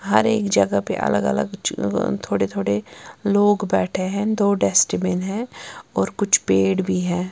हर एक जगह पे अलग अलग ज थोड़े थोड़े लोग बैठे है दो डस्टबिन है और कुछ पेड़ भी है।